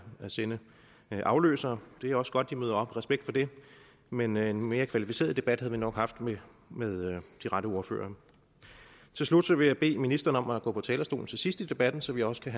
sende afløsere det er også godt de møder op respekt for det men en mere kvalificeret debat havde vi nok haft med med de rette ordførere til slut vil jeg bede ministeren om at gå på talerstolen til sidst i debatten så vi også kan